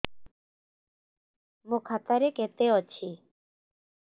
ମୋ ଖାତା ରେ କେତେ ଅଛି